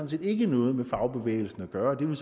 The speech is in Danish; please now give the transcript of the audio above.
set ikke har noget med fagbevægelsen at gøre det vil